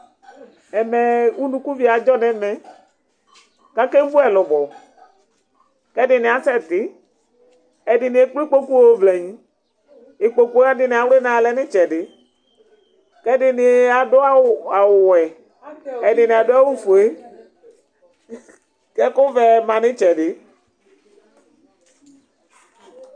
Ɛmɛ ɛɛ, unukuvio adzɔ n'ɛmɛ, k'ake vu ɛlʋbɔ, k'ɛdini asɛ ti Ɛdini ekple ikpoku yɔ vlagni, ikpokuwa ɛdini awlinɛ alɛ n'itsɛdi, k'ɛdini adʋ awʋ, awʋ wɛ, ɛdini adʋ awʋ fue, k'ɛkʋ vɛ ma n'itsɛdi